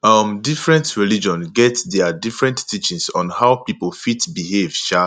um different religion get their different teachings on how pipo fit behave um